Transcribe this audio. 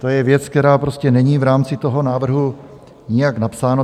To je věc, která prostě není v rámci toho návrhu nijak napsána.